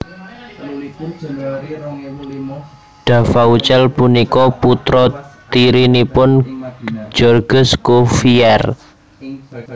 Duvaucel punika putra tirinipun Georges Cuvier